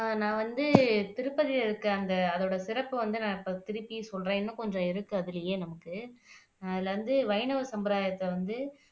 அஹ் நான் வந்து திருப்பதில இருக்கிற அந்த அதோட சிறப்ப வந்து நான் திருப்பியும் சொல்றேன் இன்னும் கொஞ்சம் இருக்கு அதுலயே நமக்கு அதுல வந்து வைணவ சம்பிரதாயத்தை வந்து